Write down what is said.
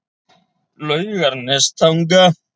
Laugarnestanga